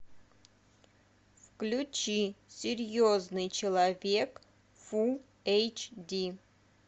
включи серьезный человек фул эйч ди